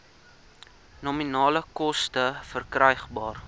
nominale koste verkrygbaar